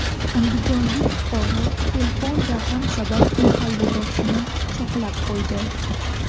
Andijonlik fuqaro telefon raqam sabab mahalladoshini pichoqlab qo‘ydi.